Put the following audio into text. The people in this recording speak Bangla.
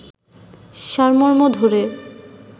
সারমর্ম ধরে